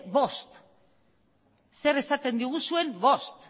bost zer esaten diguzuen bost